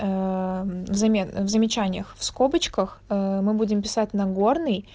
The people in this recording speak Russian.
аа замена в замечаниях в скобочках аа мы будем писать нагорный